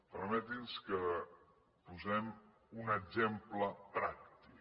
permetin nos que en posem un exemple pràctic